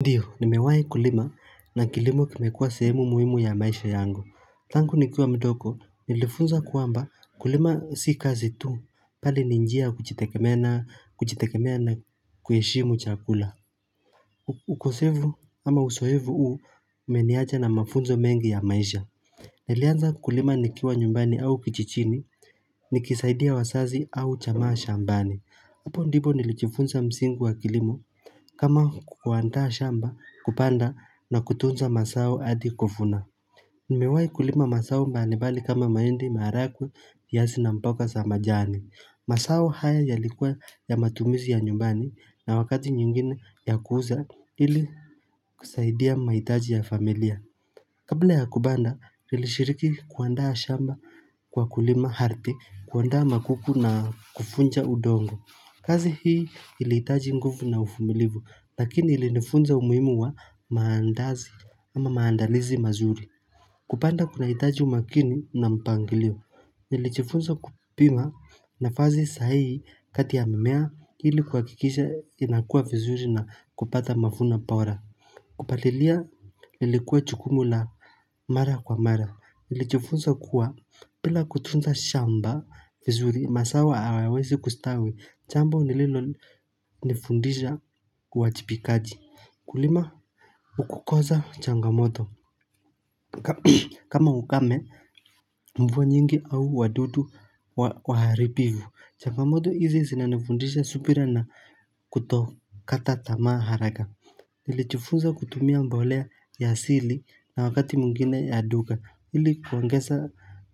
Ndiyo, nimewahi kulima na kilimo kimekuwa sehemu muhimu ya maisha yango. Tangu nikiwa mdogo, nilifunza kwamba kulima si kazi tu, bali ni njia kujitegemea na kujitegemea ni kuheshimu chakula. Ukosevu ama usohevu huu, umeniacha na mafunzo mengi ya maisha. Nilianza kulima nikiwa nyumbani au kijijini, nikisaidia wazazi au jamaa shambani. Hapo ndipo nilijifunza msingi wa kilimo kama kuandaa shamba kupanda na kutunza mazao hadi kuvuna. Nimewahi kulima mazao mbalimbali kama mahindi, maharagwe, viazi na mboga za majani. Masao haya yalikuwa ya matumizi ya nyumbani na wakati nyingine ya kuuza ili kusaidia mahitaji ya familia. Kabla ya kubanda nilishiriki kuandaa shamba kwa kulima ardhi, kuandaa magugu na kufunja udongo. Kazi hii ili itaji nguvu na ufumilivu, lakini ilinifunza umuhimu wa maandazi ama maandalizi mazuri. Kupanda kunahitaji umakini na mpangilio, nilijifunza kupima nafazi sahihi kati ya mimea ili kuhakikisha inakua vizuri na kupata mafuno bora. Kupalilia lilikuwa jukumu la mara kwa mara. Nilijifunza kuwa bila kutunza shamba vizuri mazao hayawezi kustawi jambo nililonifundisha uwajibikaji Kulima ukukoza changamoto kama ukame mvua nyingi au wadudu waharibivu changamoto hizi zinanifundisha subira na kutokata tamaa haraka nilijifunza kutumia mbolea ya asili na wakati mwngine ya duka ili kuongeza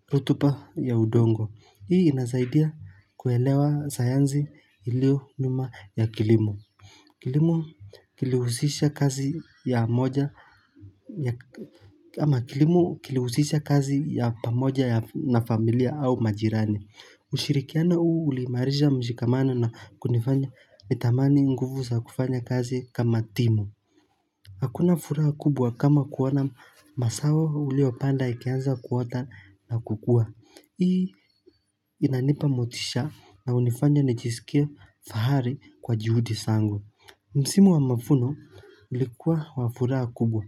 rutuba ya udongo Hii inazaidia kuelewa sayanzi iliyo nyuma ya kilimo. Kilimo kilihusisha kazi Kilimo kilihusisha kazi ya pamoja na familia au majirani ushirikiano huu uliimarisha mshikamano na kunifanya nitamani nguvu za kufanya kazi kama timu Hakuna furaha kubwa kama kuwa na mazao uliyopanda ikianza kuota na kukua. Hii inanipa motisha na unifanya nijisikie fahari kwa juhudi sangu. Msimu wa mafuno ulikuwa wa furaha kubwa.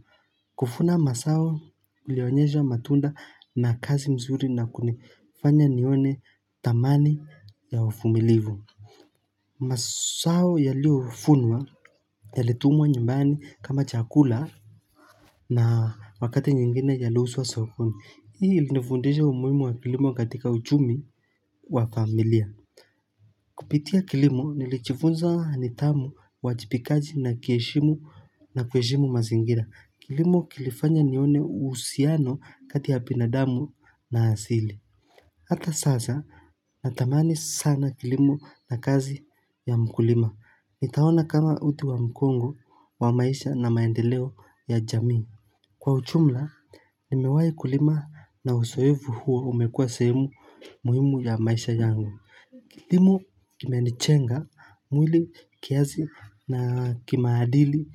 Kufuna masawo ulioanyesha matunda na kazi nzuri na kunifanya nione thamani ya ufumilivu. Masawo yaliyofunwa yalitumwa nyumbani kama chakula na Wakati nyingine yaliuzwa sokoni. Hii ilinifundisha umuhimu wa kilimo katika uchumi wa familia. Kupitia kilimo nilijiifunza nidhamu uwajibikaji na kieshimu na kuheshimu mazingira. Kilimo kilifanya nione uhusiano kati ya binadamu na asili. Hata sasa natamani sana kilimo na kazi ya mkulima. Nitaona kama uti wa mgongo, wa maisha na maendeleo ya jamii. Kwa ujumla, nimewahe kulima na usoefu huo umekua sehemu muhimu ya maisha yangu. Kilimo kimenijenga, mwili kiasi na kimaadili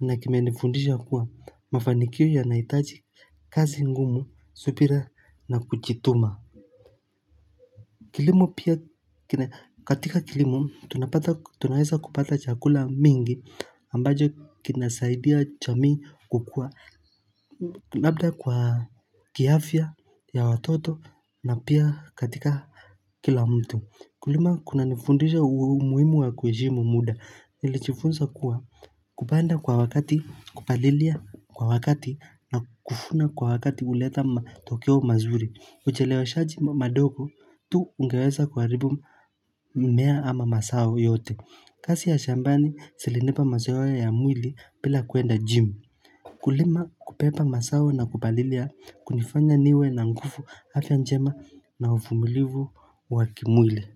na kimenifundisha kuwa mafanikio yanahitaji kazi ngumu, subira na kujituma. Kilimo pia katika kilimo tunapata tunaweza kupata chakula mingi ambacho kinasaidia jamii kukua Labda kwa kiafya ya watoto na pia katika kila mtu Kulima kunanifundisha umuhimu wa kuheshimu muda nilijifunza kuwa kupanda kwa wakati, kupalilia kwa wakati na kufuna kwa wakati uleta matokeo mazuri Uchelewashaji madogo tu ungeweza kuharibu mmea ama masawo yote kasi ya shambani zilinipa mazoea ya mwili bila kuenda jim Kulima kubeba masawo na kupalilia kunifanya niwe na nguvu afya njema na ufumulivu wa kimwili.